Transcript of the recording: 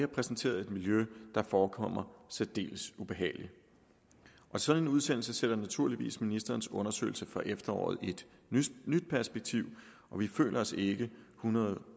præsenteret et miljø der forekommer særdeles ubehageligt sådan en udsendelse sætter naturligvis ministerens undersøgelse fra efteråret i et nyt perspektiv og vi føler os ikke hundrede